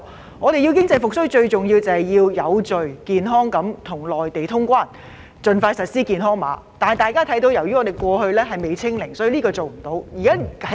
香港如要經濟復蘇，最重要是有序地跟內地通關，盡快採用健康碼，但因香港的確診數字未能"清零"，所以暫時不能通關。